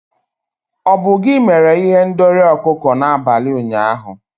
Ọ bụ gị mere ihendori ọkụkọ n'abalị ụnyaahụ?